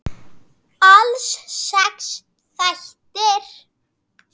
Alls sex þættir.